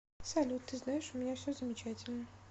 салют ты знаешь у меня все замечательно